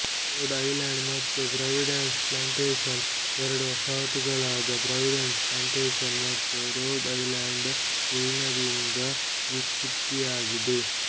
road Island ಮತ್ತು Providence Plantations ಎರಡು ವಸಾಹತುಗಳಾದ ಪ್ರಾವಿಡೆನ್ಸ್ ಪ್ಲಾಂಟೇಶನ್ಸ್ ಮತ್ತು ರೋಡ್ ಐಲೆಂಡ್ ವಿಲೀನದಿಂದ ವ್ಯುತ್ಪತ್ತಿಯಾಗಿದೆ